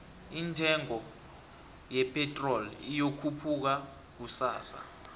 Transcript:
indengo ye pitrol iyokhupuka kusasa